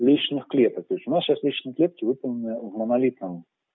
лестничных клеток то есть у нас сейчас лестничные клетки выполнены в монолитном